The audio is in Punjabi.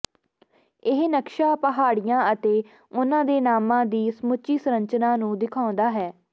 ਇਹ ਨਕਸ਼ਾ ਪਹਾੜੀਆਂ ਅਤੇ ਉਨ੍ਹਾਂ ਦੇ ਨਾਮਾਂ ਦੀ ਸਮੁੱਚੀ ਸੰਰਚਨਾ ਨੂੰ ਦਿਖਾਉਂਦਾ ਹੈ